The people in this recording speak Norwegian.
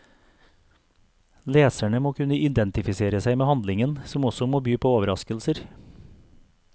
Leserne må kunne identifisere seg med handlingen, som også må by på overraskelser.